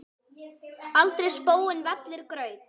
aldrei spóinn vellir graut.